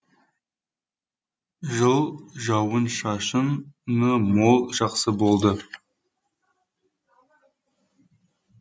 жыл жауын шашыны мол жақсы болды